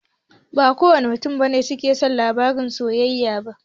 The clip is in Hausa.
Ba kowane mutane ne suke son labaran soyayya ba.